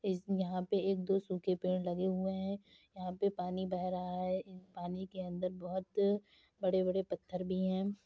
इस यहाँ पे एक दो सूखे पेड़ लगे हुए है यहाँ पे पानी बह रहा है | पानी के अंदर बहोत बड़े बड़े पत्थर भी हैं |